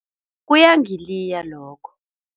Kuyangiliya lokho.